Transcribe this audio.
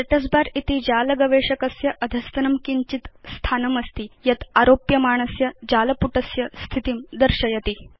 status bar इति भवत् जाल गवेषकस्य अधस्तनं किञ्चित् स्थानम् अस्ति यत् भवन्तं आरोप्यमाणस्य जालपुटस्य स्थितिं दर्शयति